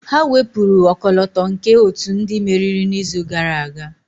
Ha wepụrụ ọkọlọtọ nke otu ndị meriri n'izu gara aga.